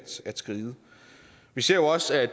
skride vi ser jo også at